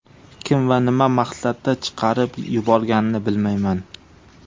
Kim va nima maqsadda chiqarib yuborganini bilmayman.